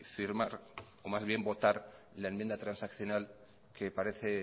firmar o más bien votar la enmienda transaccional que parece